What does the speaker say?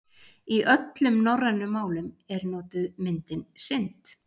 Í öllum norrænum málum er notuð myndin synd.